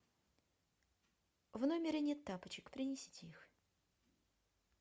в номере нет тапочек принесите их